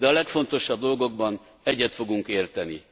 De a legfontosabb dolgokban egyet fogunk érteni.